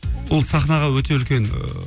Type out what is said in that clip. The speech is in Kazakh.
ол сахнаға өте үлкен ыыы